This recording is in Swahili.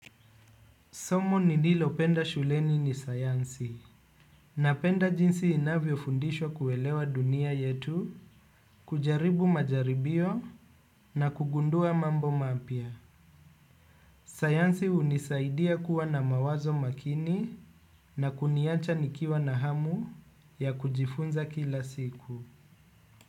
Somo nililopenda shuleni ni sayansi napenda jinsi inavyofundishwa kuelewa dunia yetu, kujaribu majaribio na kugundua mambo mapya. Sayansi hunisaidia kuwa na mawazo makini na kuniacha nikiwa na hamu ya kujifunza kila siku.